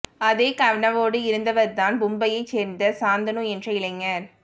அதே கனவோடு இருந்தவர்தான் மும்பையை சேர்ந்த சாந்தனு என்ற இளைஞர்